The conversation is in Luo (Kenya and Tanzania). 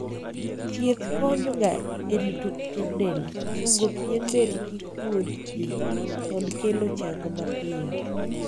thieth konyo ga e rito pien del, chungo pien del kik kuod pii, kod kelo chang mapiyo